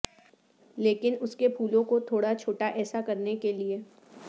لیکن اس کے پھولوں کو تھوڑا چھوٹا ایسا کرنے کے لئے